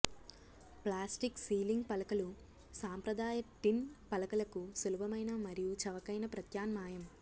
plastic ceiling పలకలు సాంప్రదాయ tin పలకలకు సులభమైన మరియు చవకైన ప్రత్యామ్నాయం